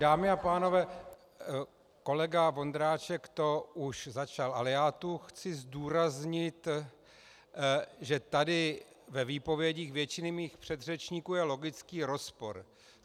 Dámy a pánové, kolega Vondráček to už začal, ale já tu chci zdůraznit, že tady ve výpovědích většiny mých předřečníků je logický rozpor.